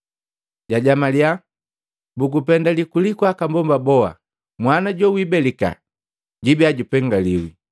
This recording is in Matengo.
jajamalya, “Bugupendali kuliku aka mbomba boha, mwana jowibelika jiibiya jupengaliwi!